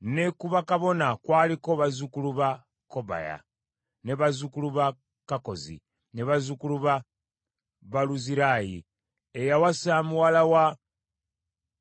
Ne ku bakabona kwaliko bazzukulu ba Kobaya, bazzukulu ba Kakkozi, ne bazzukulu ba Baluzirayi, eyawasa muwala wa